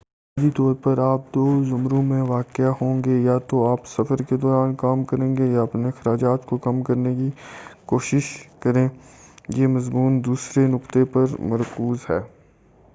بنیادی طور پر آپ دو زمروں میں واقع ہوں گے یا تو آپ سفر کے دوران کام کریں یا اپنے اخراجات کو کم کرنے کی کوشش کریں یہ مضمون دوسرے نکتے پر مرکوز ہے